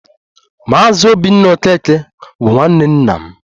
Maazị Obinna Okeke bụ nwanne nna m